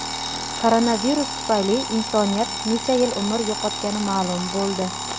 Koronavirus tufayli insoniyat necha yil umr yo‘qotgani ma’lum bo‘ldi.